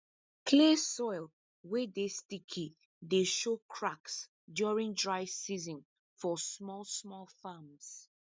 clay soil wey dey sticky dey show cracks during dry season for small small farms